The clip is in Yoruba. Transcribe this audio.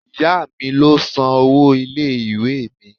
Ìyá mi ló san owó ilé-ìwé mi.